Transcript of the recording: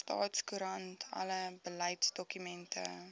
staatskoerant alle beleidsdokumente